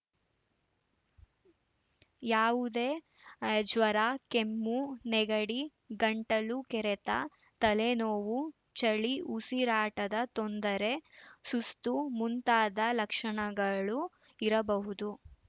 ಯಾವುದೇ ಜ್ವರ ಕೆಮ್ಮು ನೆಗಡಿ ಗಂಟಲು ಕೆರೆತ ತಲೆ ನೋವು ಚಳಿ ಉಸಿರಾಟದ ತೊಂದರೆ ಸುಸ್ತು ಮುಂತಾದ ಲಕ್ಷಣಗಳು ಇರಬಹುದು